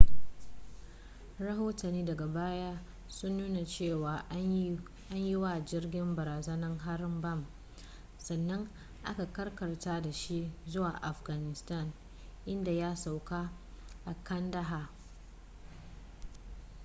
rahotanni daga baya sun nuna cewa an yi wa jirgin barazanar harin bam sannan aka karkatar da shi zuwa afghanistan inda ya sauka a kandahar